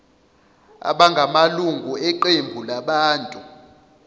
abangamalunga eqembu labantu